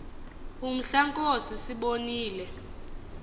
umhla nkosi sibonile